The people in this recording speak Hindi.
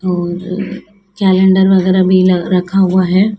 और कैलेंडर वगैरह भी लग रखा हुआ है।